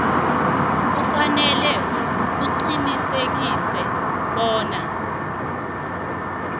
kufanele uqinisekise bona